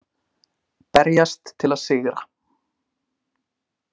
Berjast til að sigra.